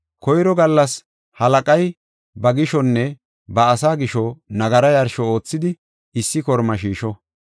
Koyro gallas halaqay ba gishonne ba asaa gisho nagara yarsho oothidi issi kormaa shiisho.